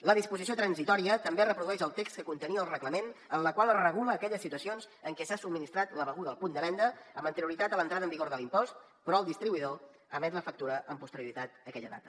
la disposició transitòria també reprodueix el text que contenia el reglament en la qual es regula aquelles situacions en què s’ha subministrat la beguda al punt de venda amb anterioritat a l’entrada en vigor de l’impost però el distribuïdor emet la factura amb posterioritat a aquella data